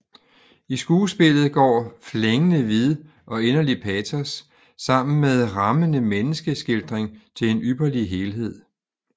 I skuespillet går flængende vid og inderlig patos sammen med rammende menneskeskildring til en ypperlig helhed